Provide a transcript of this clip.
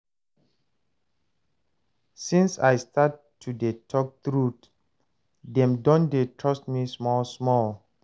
Since I start to dey tok truth, dem don dey trust me small-small.